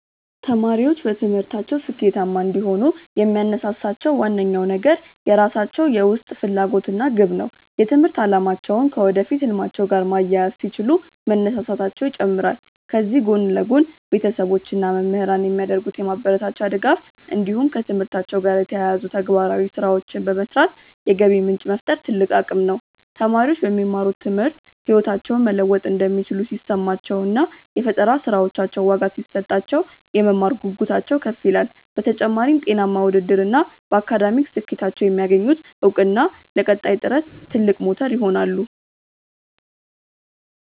ተማሪዎች በትምህርታቸው ስኬታማ እንዲሆኑ የሚያነሳሳቸው ዋነኛው ነገር የራሳቸው የውስጥ ፍላጎት እና ግብ ነው። የትምህርት አላማቸውን ከወደፊት ህልማቸው ጋር ማያያዝ ሲችሉ መነሳሳታቸው ይጨምራል። ከዚህ ጎን ለጎን፣ ቤተሰቦች እና መምህራን የሚያደርጉት የማበረታቻ ድጋፍ እንዲሁም ከትምህርታቸው ጋር የተያያዙ ተግባራዊ ስራዎችን በመስራት የገቢ ምንጭ መፍጠር ትልቅ አቅም ነው። ተማሪዎች በሚማሩት ትምህርት ህይወታቸውን መለወጥ እንደሚችሉ ሲሰማቸው እና የፈጠራ ስራዎቻቸው ዋጋ ሲሰጣቸው፣ የመማር ጉጉታቸው ከፍ ይላል። በተጨማሪም፣ ጤናማ ውድድር እና በአካዳሚክ ስኬታቸው የሚያገኙት እውቅና ለቀጣይ ጥረት ትልቅ ሞተር ይሆናሉ።